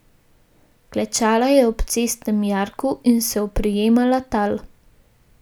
Klečala je ob cestnem jarku in se oprijemala tal.